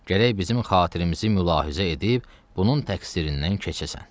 Gərək bizim xatirəmizi mülahizə edib bunun təqsirindən keçəsən.